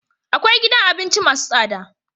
akwai gidan abinci masu tsada